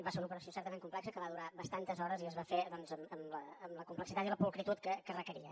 va ser una operació certament complexa que va durar bastantes hores i es va fer doncs amb la complexitat i la pulcritud que requeria